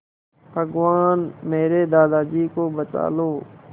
भगवान मेरे दादाजी को बचा लो